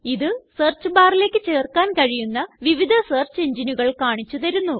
ഇത് സെർച്ച് barലേയ്ക്ക് ചേർക്കാൻ കഴിയുന്ന വിവിധ സെർച്ച് engineകൾ കാണിച്ചു തരുന്നു